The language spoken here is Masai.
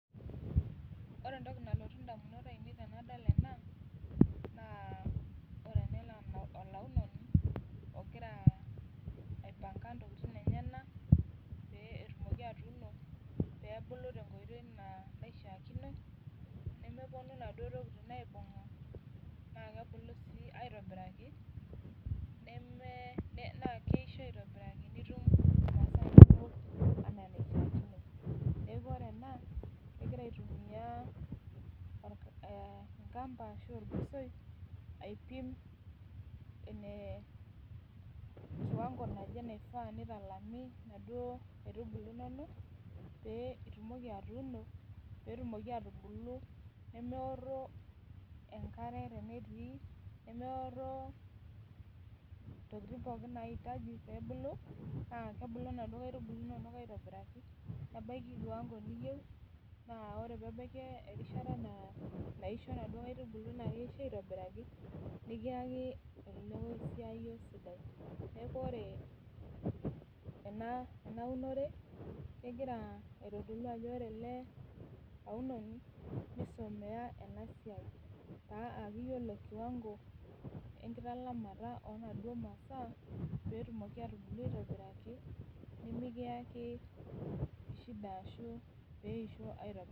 Wore entoki nalotu indamunot aiinei tenadol ena, naa wore ena naa olaunoni, okira aipanga intokitin enyanak, pee etumoki atuuno, peebulu tenkoitoi naishiakino, nemeponu inaduo tokitin aibunga, naa kebulu sii aitobiraki, naa keisho aitobiraki nitum intapuka inonok enaa enaishiakino. Neeku wore ena, kekira aitumia enkampa arashu orgosoi aipim kiwango naje naishaa nitalami inaduo kaitubulu inonok, pee itumoki atuuno, pee etumoki aatubulu, nemeorro enkare tenetii, nemeorro intokitin pookin naitaji pee ebulu. Naa kebulu inaduo kaitubulu inonok aitobiraki, nebaki kiwango niyieu, naa wore peebaki erishata naaisho inaduo kaitubulu naa keisho aitobiraki. Nikiaka olokoisoiyo sidai. Neeku wore enaunore, kekira aitodolu ajo wore ele aunoni, nisumiya ena siai, pee eaku iyiolo kiwango enkitalamata oonaduo masaa, pee etumoki aatubulu aitobiraki, nimikiaki shida ashu pee eisho aitobiraki